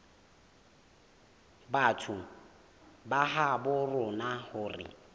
batho ba habo rona hore